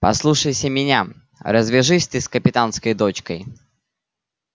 послушайся меня развяжись ты с капитанской дочкой